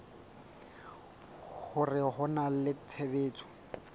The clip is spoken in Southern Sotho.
hore ho na le tshebetso